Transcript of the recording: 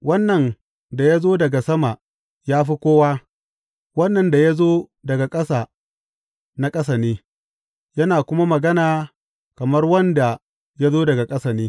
Wannan da ya zo daga sama ya fi kowa; wannan da ya zo daga ƙasa na ƙasa ne, yana kuma magana kamar wanda ya zo daga ƙasa ne.